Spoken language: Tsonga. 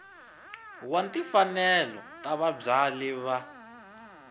wa timfanelo ta vabyali va